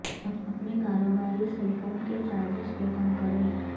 اپنے کاروباری cell phone کے چارجز کو کم کریں